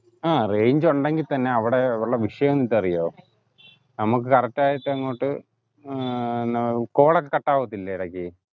ആഹ് range ഉണ്ടെങ്കി തന്നെ അവിടെ ഉള്ള വിഷയം നിനക്ക് അറിയുവോ നമ്മുക് correct ആയിട്ട് അങ്ങോട്ട് ഏർ ന call cut ആവത്തില്ലേ ഇടയ്ക്ക്